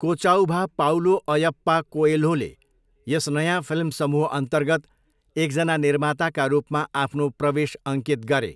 कोचाउभा Paulo Ayyappa कोएल्होले यस नयाँ फिल्म समूहअन्तर्गत एकजना निर्माताका रूपमा आफ्नो प्रवेश अङ्कित गरे।